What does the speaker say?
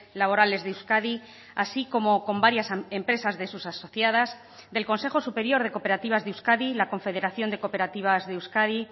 laborales de euskadi así como con varias empresas de sus asociadas del consejo superior de cooperativas de euskadi la confederación de cooperativas de euskadi